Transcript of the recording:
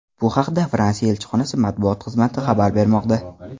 Bu haqda Fransiya elchixonasi matbuot xizmati xabar bermoqda .